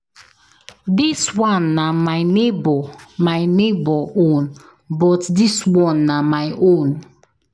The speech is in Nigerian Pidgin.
Dis one na my neighbor my neighbor own but dis one na my own.